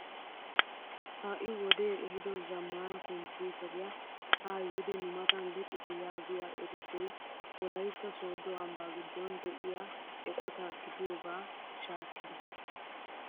Ha'i wodee ehido zammaana komppiteriyaa haa yiidi nu matan luxitte yaagiyaa erissoy wolaytta sooddo ambbaa giddon de'iyaa eqota gidiyooga shaakkida!